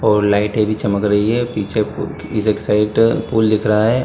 और लाइटें भी चमक रही है पीछे पु इधर की साइड पूल दिख रहा है।